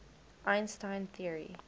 einstein theory